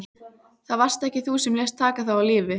Það varst þú sem lést taka þá af lífi.